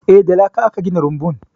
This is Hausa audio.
Eh, da laka aka gina rumbun.